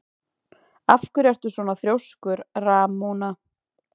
Af hverju ertu svona þrjóskur, Ramóna?